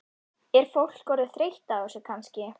Er fólk orðið þreytt á þessu kannski?